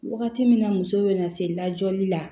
Wagati min na muso bɛna se lajɔli la